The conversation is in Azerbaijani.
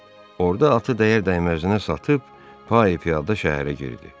Orda atı dəyər-dəyməzinə satıb, payı piyada şəhərə girdi.